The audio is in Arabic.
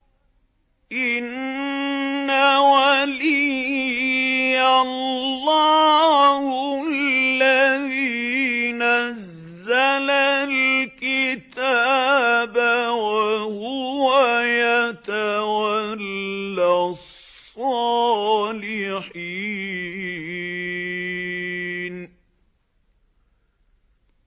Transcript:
إِنَّ وَلِيِّيَ اللَّهُ الَّذِي نَزَّلَ الْكِتَابَ ۖ وَهُوَ يَتَوَلَّى الصَّالِحِينَ